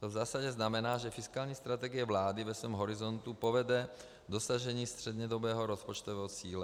To v zásadě znamená, že fiskální strategie vlády ve svém horizontu povede k dosažení střednědobého rozpočtového cíle.